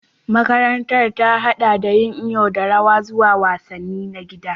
Makarantar ta haɗa da yin iyo da rawa zuwa wasanni na gida